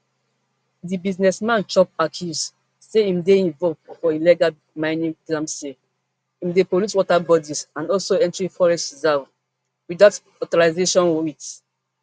di businessman chop accuse say im dey involve for illegal mining galamsey im dey pollute water bodies and also entering forest reserve without authorization wit